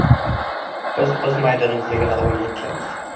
Biz o‘z maydonimizda g‘alabaga intilamiz.